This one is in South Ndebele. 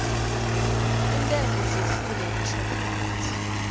iintengo zehlile ngeshoprite